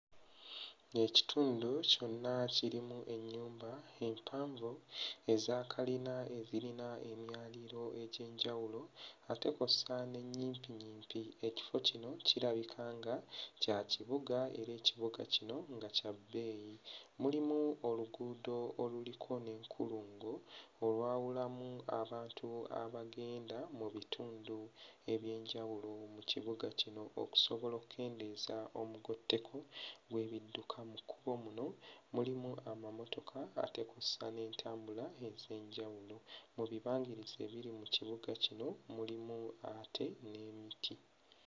Ekitundu kyonna kirimu ennyumba empanvu eza kalina ezirina emyaliriro egy'enjawulo ate kw'ossa n'ennyimpiyimpi. Ekifo kino kirabika nga kya kibuga era ekibuga kino nga kya bbeeyi. Mulimu oluguudo oluliko n'enkulungo, olwawulamu abantu abagenda mu bitundu eby'enjawulo mu kibuga kino okusobola okukendeeza omugotteko gw'ebidduka. Mu kkubo muno mulimu amamotoka ate kw'ossa n'entambula ez'enjawulo. Mu bibangirizi ebiri mu kibuga muno mulimu ate n'emiti.